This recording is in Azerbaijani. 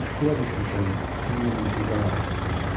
Müşkülə düşmüşəm, könlüm intizar.